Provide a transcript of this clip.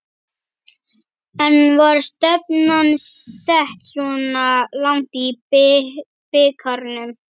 En var stefnan sett svona langt í bikarnum?